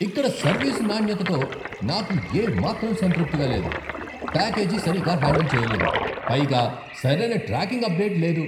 ఇక్కడ సర్వీస్ నాణ్యతతో నాకు ఏమాత్రం సంతృప్తిగా లేదు. ప్యాకేజీ సరిగ్గా హ్యాండిల్ చెయ్యలేదు, పైగా సరైన ట్రాకింగ్ అప్డేట్ లేదు!